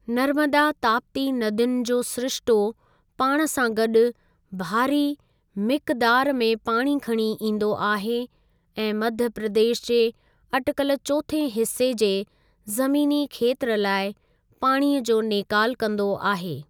नर्मदा ताप्ती नदियुनि जो सिरिश्तो पाण सां गॾि भारी मिकदार में पाणी खणी ईंदो आहे ऐं मध्य प्रदेश जे अटिकल चोथें हिस्से जे ज़मीनी खेत्र लाइ पाणीअ जो नेकाल कंदो आहे।